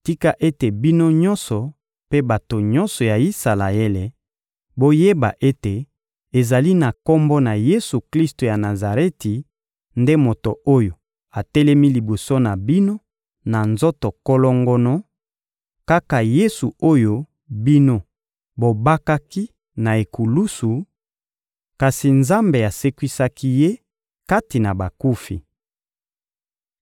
tika ete, bino nyonso mpe bato nyonso ya Isalaele, boyeba ete ezali na Kombo na Yesu-Klisto ya Nazareti nde moto oyo atelemi liboso na bino na nzoto kolongono; kaka Yesu oyo bino bobakaki na ekulusu, kasi Nzambe asekwisaki Ye kati na bakufi.